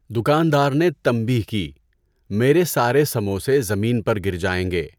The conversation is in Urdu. دکاندار نے تنبیہ کی، میرے سارے سموسے زمین پر گر جائیں گے۔